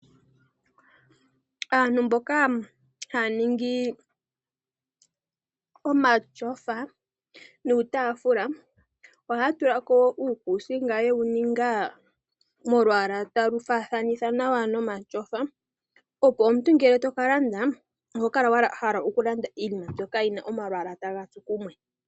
Aantu mboka haya ningi omatyofa nuutaafula ohaya tula ko uukuusinga yewu ninga molwaala ga faathana nomatyofa, opo omuntu shi to ka landa oho kala wa hala okulanda iinima mbyoka yi na omalwaala taga tsu kumwe.